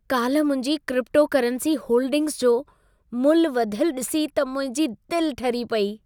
काल्हि मुंहिंजी cryptocurrency holdings जो मुल्ह वधियल ॾिसी त मुंहिंजी दिलि ठरी पेई।